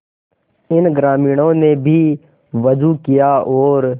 इन ग्रामीणों ने भी वजू किया और